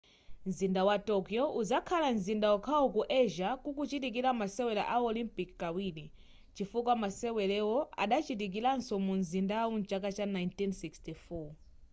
mzinda wa tokyo uzakhala mzinda okhawo ku asia kuchitikira masewero a olympic kawiri chifukwa masewero adachitikiraso mu mzindawu mchaka cha 1964